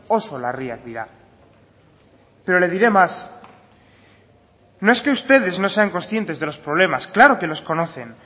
oso larriak dira pero le diré más no es que ustedes no sean conscientes de los problemas claro que los conocen